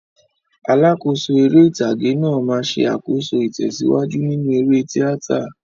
Alákòóso eré ìtàgé náà máa ń ṣe àkóso ìtẹ̀síwájú nínú eré tíátà.